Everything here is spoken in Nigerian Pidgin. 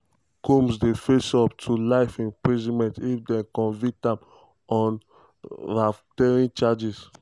combs dey face up to life in prison if dem convict am on racketeering charge.